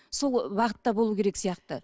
сол бағытта болуы керек сияқты